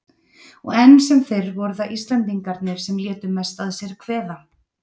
Og enn sem fyrr voru það Íslendingarnir sem létu mest að sér kveða.